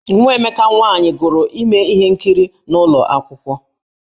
Nwa Emeka nwaanyị gụrụ ime ihe nkiri n’ụlọ akwụkwọ.